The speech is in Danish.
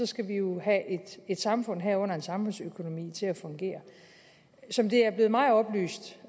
skal have et samfund herunder en samfundsøkonomi til at fungere som det er blevet mig oplyst